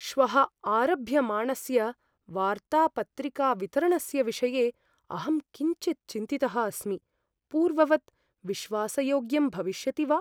श्वः आरभ्यमाणस्य वार्तापत्रिकावितरणस्य विषये अहं किञ्चित् चिन्तितः अस्मि, पूर्ववत् विश्वासयोग्यं भविष्यति वा?